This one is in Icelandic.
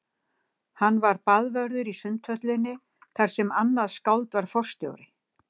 Hann var baðvörður í Sundhöllinni þar sem annað skáld var forstjóri.